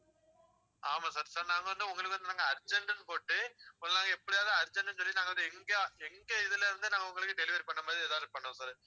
ஆமா sir sir நாங்க வந்து உங்களுக்கு வந்து நாங்க urgent ன்னு போட்டு ஒரு நாள் எப்படியாவது urgent ன்னு சொல்லி நாங்க வந்து, எங்க, எங்க இதுல இருந்து நாங்க உங்களுக்கு delivery பண்ணற மாதிரி எதாவது பண்ணுவோம் sir